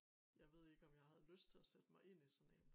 Jeg ved ikke om jeg havde lyst til at sætte mig ind i sådan én